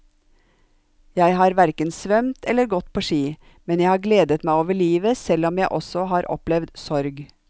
Jeg har hverken svømt eller gått på ski, men jeg har gledet meg over livet selv om jeg også har opplevd sorg.